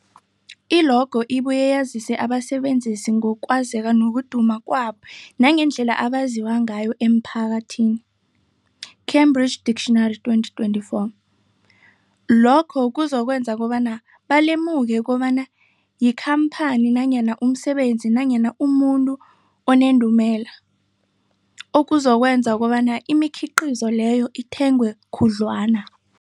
I-logo ibuye yazise abasebenzisi ngokwazeka nokuduma kwabo nangendlela abaziwa ngayo emphakathini, Cambridge Dictionary, 2024. Lokho kuzokwenza kobana balemuke kobana yikhamphani nanyana umsebenzi nanyana umuntu onendumela, okuzokwenza kobana imikhiqhizo leyo ithengwe khudlwana.